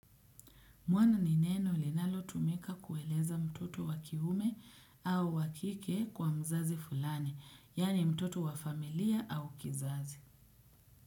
Mwana ni neno linalo tumika kueleza mtoto wakiume au wakike kwa mzazi fulani, yaani mtoto wa familia au kizazi.